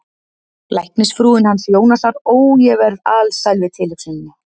Læknisfrúin hans Jónasar, ó, ég verð alsæl við tilhugsunina